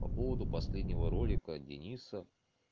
по поводу последнего ролика дениса